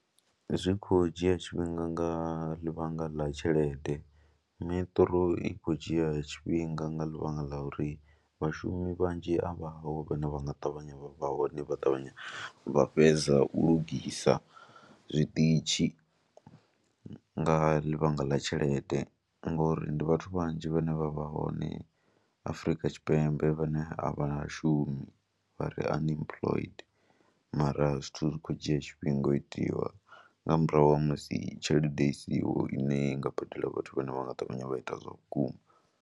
Zwi khou dzhia tshifhinga nga ḽivhanga ḽa tshelede, Metro i khou dzhia tshifhinga nga ḽivhanga ḽa uri vhashumi vhanzhi a vhaho vhane vha nga ṱavhanya vha hone vha ṱavhanya vha fhedza u lugisa zwiṱitshi nga ḽivhanga ḽa tshelede ngori ndi vhathu vhanzhi vhane vha vha hone Afrika Tshipembe vhane a vha shumi vha re unemployment mara zwithu zwi khou dzhia tshifhinga u itiwa nga murahu ha musi tshelede i siho ine i nga badela vhathu vhane vha nga ṱavhanya vha ita zwa vhukuma.